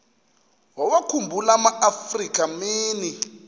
wawakhumbul amaafrika mini